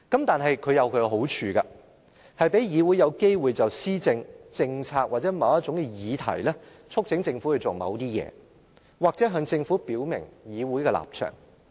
但是，這有其好處，就是讓議會有機會就施政、政策或某種議題促請政府做某些事，或向政府表明議會的立場。